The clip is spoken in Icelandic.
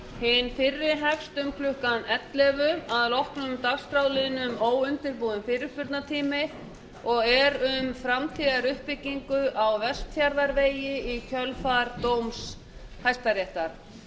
hinn fyrri hefst um klukkan ellefu að loknum dagskrárliðnum óundirbúinn fyrirspurnatími og er um framtíðaruppbyggingu á vestfjarðavegi í kjölfar dóms hæstaréttar